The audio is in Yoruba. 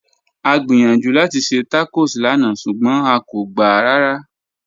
À gbíyànjú láti ṣẹ́ tacọ́s lànà ṣugbọn à kò gbá rárá